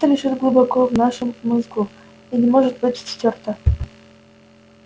это лежит глубоко в вашем мозгу и не может быть стёрто